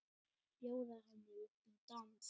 Bjóða henni upp í dans!